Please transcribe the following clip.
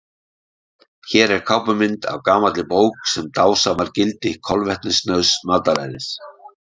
Hér er kápumynd af gamalli bók sem dásamar gildi kolvetnasnauðs mataræðis.